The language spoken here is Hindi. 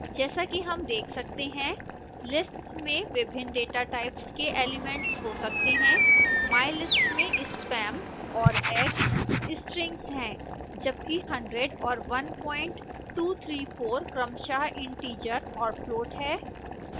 जैसा कि हम देख सकते हैं lists में विभिन्न datatypes के एलिमेंट्स हो सकते हैं